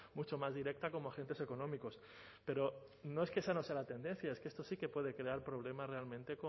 mucho más directa como agentes económicos pero no es que esa no sea la tendencia es que esto sí que puede crear problemas realmente